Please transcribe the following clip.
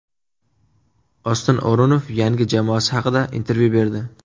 Oston O‘runov yangi jamoasi haqida intervyu berdi.